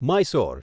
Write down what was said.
Mysore